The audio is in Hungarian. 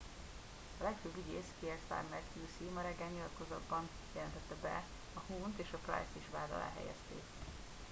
a legfőbb ügyész kier starmer qc ma reggel nyilatkozatban jelentette be hogy huhne t és pryce t is vád alá helyezték